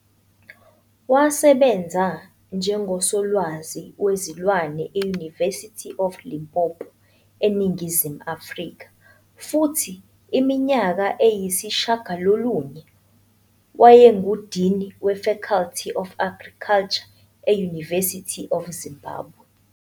Wasebenza njengoSolwazi Wezilwane e- University of Limpopo eNingizimu Afrika, futhi iminyaka eyisishiyagalolunye wayenguDini we-Faculty of Agriculture e-University of Zimbabwe.